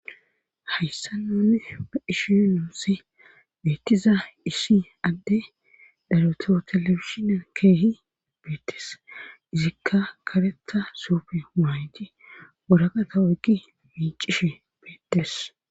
Hayssa noune ba ishi nuusi beettiza iishi adde dareto telefishinan keehi beettes izikka karetha suufe maayti woraqata wegi miicishe beettes.